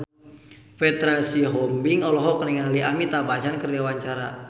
Petra Sihombing olohok ningali Amitabh Bachchan keur diwawancara